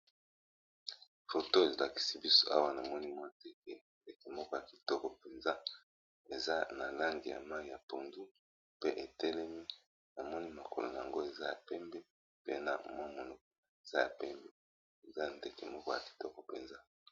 Foto elakisi biso awa na moni mwa ndeke, ndeke moko ya kitoko mpenza eza na langi ya mayi ya pondu pe etelemi na moni makolo nango eza ya pembe pe na mwa monoko eza ya pembe eza ndeke moko ya kitoko mpenza.